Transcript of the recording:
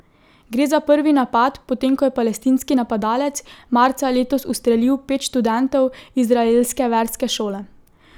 Gre za prvi napad potem ko je palestinski napadalec marca letos ustrelil pet študentov izraelske verske šole.